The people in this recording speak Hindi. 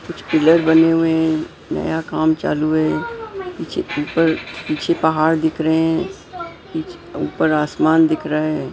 कुछ पिलर बने हुए हैं नया काम चालू है पीछे ऊपर पीछे पहाड़ दिख रहे हैं ऊपर आसमान दिख रहा है .]